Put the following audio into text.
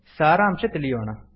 ಸಾರಾಂಶ ತಿಳಿಯೋಣ